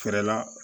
Fɛɛrɛ la